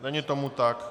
Není tomu tak.